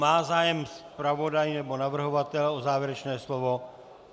Má zájem zpravodaj, nebo navrhovatel o závěrečné slovo?